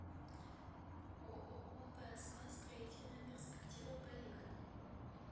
ооо пск строительная перспектива поехали